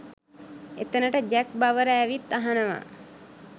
එතනට Jack Bauer ඇවිත් අහනවා